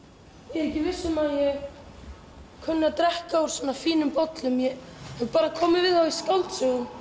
ég er ekki viss um að ég kunni að drekka úr svona fínum bollum ég hef bara komið við þá í skáldsögum